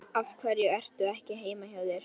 Af hverju ertu ekki heima hjá þér?